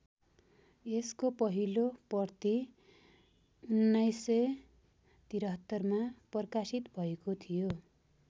यसको पहिलो प्रति १९७३ मा प्रकाशित भएको थियो।